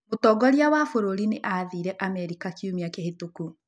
Mutongoria wa bũrũri nĩ athiire Amerika kiumia kĩhĩtũku.